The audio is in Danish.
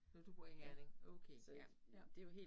Øh du bor i Herning okay ja ja